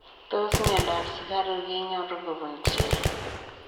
Tos miondop sukaruuk kenyoruu kobun chii?